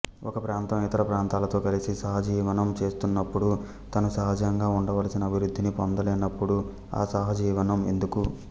ఒక ప్రాంతం ఇతర ప్రాంతాలతో కలిసి సహజీవనం చేస్తున్నప్పుడు తాను సహజంగా వుండవలసిన అభివృద్ధిని పొందలేనప్పుడు ఆ సహజీవనం ఎందుకు